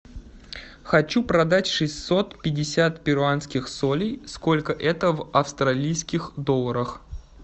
хочу продать шестьсот пятьдесят перуанских солей сколько это в австралийских долларах